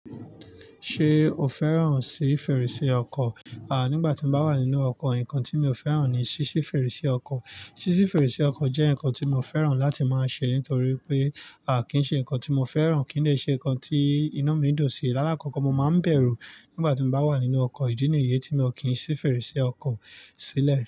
Ṣé o fẹ́ràn sí fèrèsé ọkọ? À, nígbà tí mo bá wà nínú ọkọ̀, ǹkan tí mi ò fẹ́ràn ni ṣíṣí fèrèsé ọkọ̀. Ṣí ṣí fèrèsé ọkọ̀ jẹ́ ǹkan tí mo fẹ́ràn láti máa ṣe nítorí pé, à kín ṣe ǹkan tí mo fẹ́ràn, kí dè ṣe ǹkan tí inu mi dùn sí. Láákọ̀kọ̀ mo máa ń bẹ̀rù nígbà tí mo bá wà nínú ọkọ̀, ìdí nìyẹ́ tí mi ò kí ń ṣí fèrèsé ọkọ̀ sílẹ̀.